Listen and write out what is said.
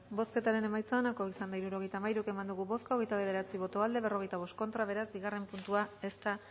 bozketaren emaitza onako izan da hirurogeita hamalau eman dugu bozka hogeita bederatzi boto aldekoa cuarenta y cinco contra beraz bigarren puntua ez da